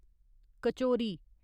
kachori